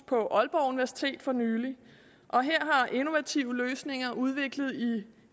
på aalborg universitet for nylig og her har innovative løsninger udviklet i